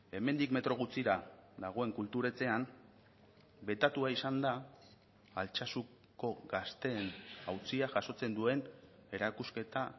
hemendik metro gutxira dagoen kultur etxean betatua izan da altsasuko gazteen auzia jasotzen duen erakusketa